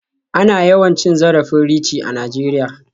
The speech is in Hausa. Ana yawan cin zarafin Richie a Najeriya.